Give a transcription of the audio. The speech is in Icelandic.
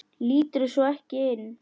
Líturðu svo ekki inn?